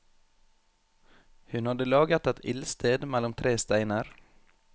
Hun hadde laget et ildsted mellom tre steiner.